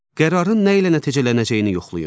Qərarın nə ilə nəticələnəcəyini yoxlayın.